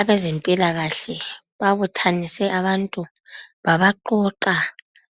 Abezempilakahle babuthanise abantu babaqoqa